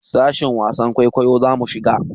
Sashin wasan kwaikwayo zamu shiga.